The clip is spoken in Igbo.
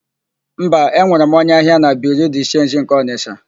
Mba, enwere m onye ahịa na Biriu de Chenji nke Ọnịsha.